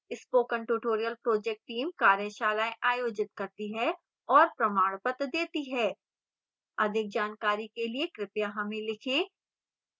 spoken tutorial project team कार्यशालाएँ आयोजित करती है और प्रमाणपत्र देती है अधिक जानकारी के लिए कृपया हमें लिखें